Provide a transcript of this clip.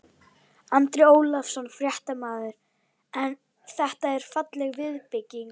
Andri Ólafsson, fréttamaður: En þetta er falleg viðbygging?